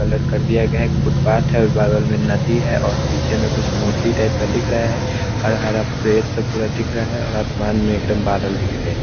Colour कर दिया गया है एक फुटपाथ है और बगल में नदी है और पीछे में कुछ मूर्ती टाइप का दिख रहा है हरा हरा पेड़ सब पूरा दिख रहा है और आसमान में एकरम बदल दिख रहे है।